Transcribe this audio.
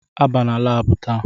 Ị banye laabu taa!